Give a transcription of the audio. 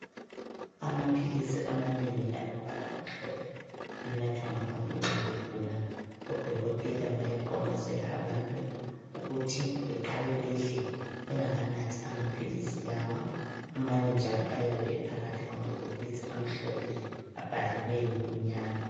Amaphilizi amanengi alombala omhlophe anathwa ngabantu nxa begula, odokotela bayaqonqosela abantu ukuthi beqale bedle bengaka nathi amaphilizi lawa, amanye njalo ayabe ephakathi kwamabhokisi amhlophe abhaliweyo ngokumnyama.